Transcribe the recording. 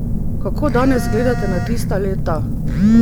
Kako danes gledate na tista leta?